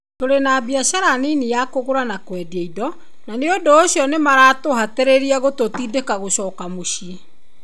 "Tũrĩ na biacara nini ya kũgũra na kwendia indo, na nĩ ũndũ ũcio nĩ maratũhatĩrĩria gũtũtindĩka gũcoka mũciĩ."